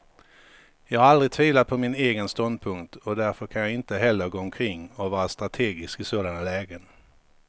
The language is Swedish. Jag har aldrig tvivlat på min egen ståndpunkt, och därför kan jag inte heller gå omkring och vara strategisk i sådana lägen.